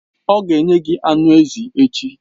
Ọ ga-enye gị anụ ezi echi.